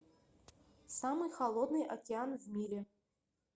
самый холодный океан в мире